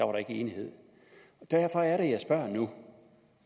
var enighed derfor er det jeg spørger nu